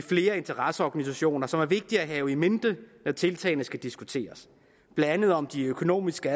flere interesseorganisationers side som er vigtige at have in mente når tiltagene skal diskuteres blandt andet om de økonomiske